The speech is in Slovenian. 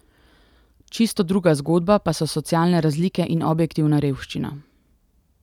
Čisto druga zgodba pa so socialne razlike in objektivna revščina.